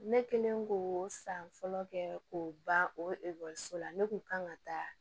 Ne kɛlen k'o san fɔlɔ kɛ k'o ban o la ne kun kan ka taa